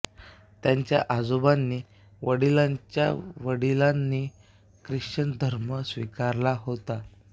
त्यांच्या आजोबांनी वडिलांच्या वडिलांनी ख्रिश्चन धर्म स्वीकारला होता